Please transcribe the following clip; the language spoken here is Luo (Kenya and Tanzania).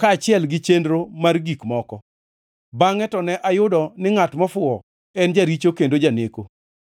kaachiel gi chenro mar gik moko, bangʼe to ne ayudo ni ngʼat mofuwo en jaricho kendo janeko.